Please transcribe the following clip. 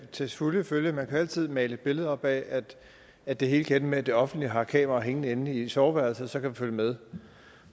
til fulde følge at man jo altid kan male et billede op af at det hele kan ende med at det offentlige har kameraer hængende inde i soveværelset så kan følge med